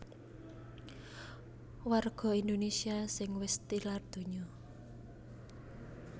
Warga Indonésia sing wis tilar donya